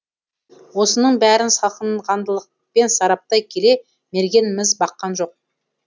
осының бәрін салқынқандылықпен сараптай келе мерген міз баққан жоқ